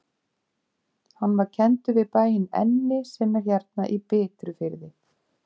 Hann var kenndur við bæinn Enni sem er hérna í Bitrufirði.